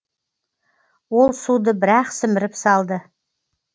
ол суды бір ақ сіміріп салды